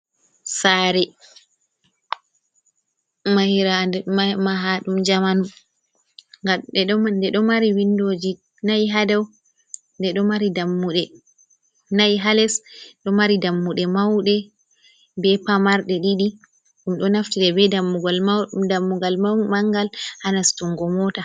Sare mahirande maha dum jamanu, gade do mari windoji nai hadau mare, dammunai ha les do mari dammude maude be pamarde, did dum do naftide be dammugal mau mangal hanastungo mota.